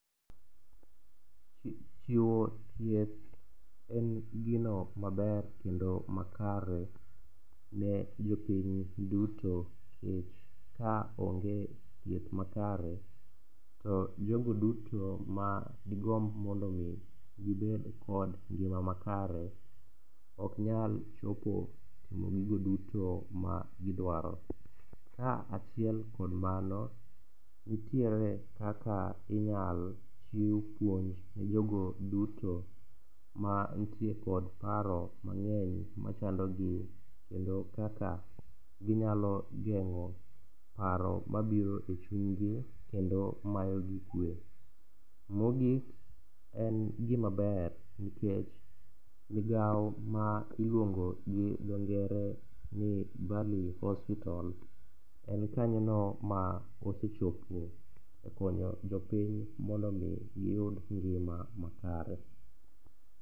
Chiwo thieth en gino maber kendo makare ne jopiny duto nikech ka onge thieth makare, to jogo duto ma digomb mondo omi gibed kod ngima makare ok nyal chopo timo gigo duto ma gidwaro, ka achiel kod mano, nitiere kaka inyalo chiw puonj ne jogo duto ma nitie kod paro mang'eny machandogi kendo kaka ginyalo geng'o paro mabiro e chunygi kendo mayogi kwe. Mogik en gimaber nikech migawo ma iluongo gi dhongere ni Valley Hospital en kanyono ma osechopo e konyo jopiny mondo omi giyud ngima makare.